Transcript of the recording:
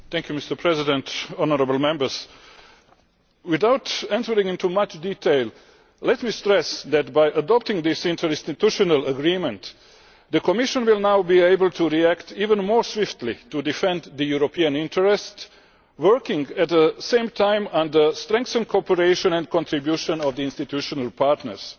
Mr President, without entering into much detail, let me stress that by adopting this interinstitutional agreement, the Commission will now be able to react even more swiftly to defend European interests, working at the same time and in strengthened cooperation and contribution with the institutional partners.